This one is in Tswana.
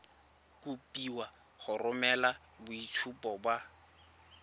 kopiwa go romela boitshupo ba